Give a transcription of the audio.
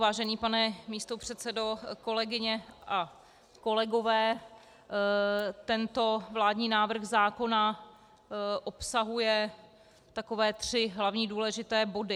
Vážený pane místopředsedo, kolegyně a kolegové, tento vládní návrh zákona obsahuje takové tři hlavní důležité body.